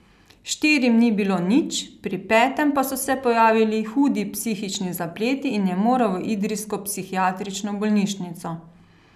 Štirim ni bilo nič, pri petem pa so se pojavili hudi psihični zapleti in je moral v idrijsko psihiatrično bolnišnico.